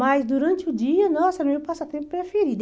Mas durante o dia, nossa, era o meu passatempo preferido.